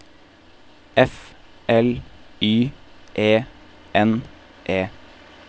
F L Y E N E